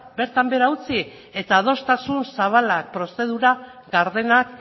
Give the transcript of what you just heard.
bertan behera utzi eta adostasun zabala prozedura gardenak